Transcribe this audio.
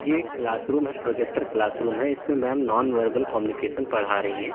यह एक क्लासरूम है प्रोजेक्टर क्लासरूम है इसमें मैंम नॉनवर्बल कम्युनिकेशन पढ़ा रही हैं।